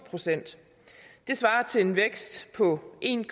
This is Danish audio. procent det svarer til en vækst på en